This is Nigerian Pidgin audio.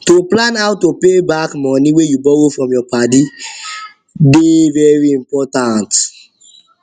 to plan how to pay back money wey you borrow from your padi dem dey padi dem dey very important